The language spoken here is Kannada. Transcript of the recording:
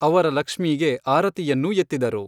ಅವರ ಲಕ್ಷ್ಮೀಗೆ ಆರತಿಯನ್ನೂ ಎತ್ತಿದರು.